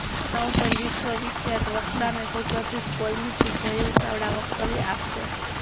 તેના ઉપર વિશ્ર્વવિખ્યાત વકતા અને સુપ્રસિઘ્ધ કોલમિસ્ટ જય વસાવડા વકતવ્ય આપશે